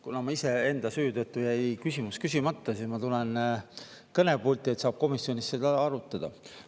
Kuna mul iseenda süü tõttu jäi küsimus küsimata, siis ma tulen kõnepulti, et saab komisjonis seda arutada.